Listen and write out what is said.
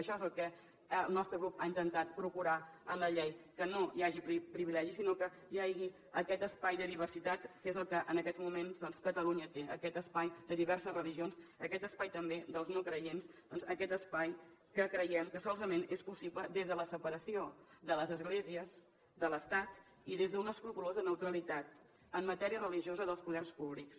això és el que el nostre grup ha intentat procurar en la llei que no hi hagi privilegis sinó que hi hagi aquest espai de diversitat que és el que en aquests moments catalunya té aquest espai de diverses religions aquest espai també dels no creients aquest espai que creiem que solament és possible des de la separació de les esglésies de l’estat i des d’una escrupolosa neutralitat en matèria religiosa dels poders públics